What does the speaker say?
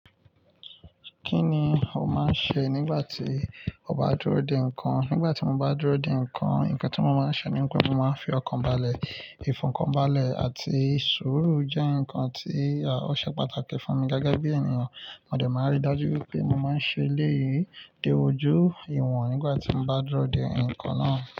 Kí ni o máa ń ṣe nígbà tí o bá dúró de nǹkan? Nígbà tí mo bá dúró de nǹkan, nǹkan tí mo máa ń ṣe nìkan ni mo máa ń fi ọkàn balẹ̀. Ìfọkànbalẹ̀ àti suuru jẹ́ nǹkan tí a ò ṣe pàtàkì fún mi gágá bí ènìyàn. Mo dẹ̀ máa rí dájú wipé mo máa ń ṣe eleeyii de ojú ìwọ̀n nígbà tí mo bá dúró de nǹkan náà.